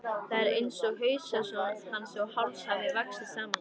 Það er einsog haus hans og háls hafi vaxið saman.